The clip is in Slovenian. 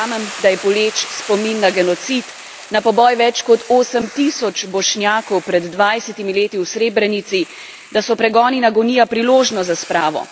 Verjamem, da je boleč spomin na genocid, na poboj več kot 8 tisoč Bošnjakov pred 20 leti v Srebrenici, da so pregon in agonija priložnost za spravo.